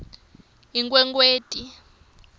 inkhwekhweti